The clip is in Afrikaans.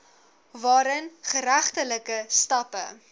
waarin geregtelike stappe